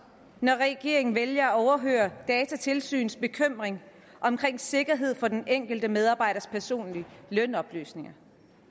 når regeringen vælger at overhøre datatilsynets bekymring om sikkerheden for den enkelte medarbejders personlige lønoplysninger